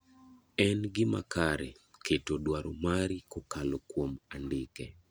En gima kare keto dwaro mari kokalo kuom andike.